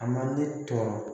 A man ne tɔɔrɔ